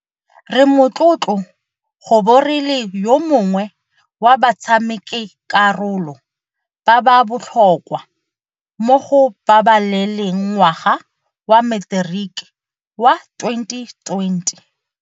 Re motlotlo go bo re le yo mongwe wa batshamekakarolo ba ba botlhokwa mo go babaleleng ngwaga wa Materiki wa 2020.